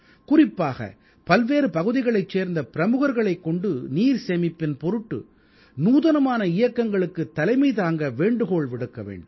குறிப்பாக பல்வேறு பகுதிகளைச் சேர்ந்த பிரமுகர்களைக் கொண்டு நீர் சேமிப்பின் பொருட்டு நூதனமான இயக்கங்களுக்குத் தலைமை தாங்க வேண்டுகோள் விடுக்க வேண்டும்